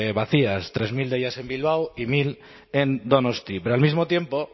vacías tres mil de ellas en bilbao y mil en donosti pero al mismo tiempo